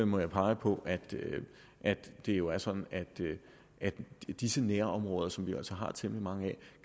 må jeg pege på at det jo er sådan at disse nærområder som vi jo altså har temmelig mange af